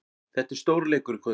Þetta er stórleikur í kvöld.